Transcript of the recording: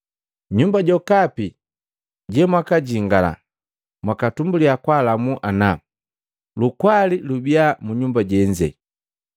Nyumba jokapi jemwakajingala, mwakatumbulya kwaalamu ana, ‘Lukwali lubia mu nyumba jenze!’